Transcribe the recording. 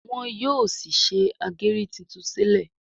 wón yóò sí ṣe ageri títún sílè.